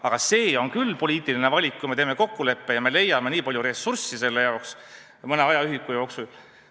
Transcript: Aga see on küll poliitiline valik, kui me teeme kokkuleppe ja leiame nii palju ressurssi selle jaoks mõne ajaühiku jooksul.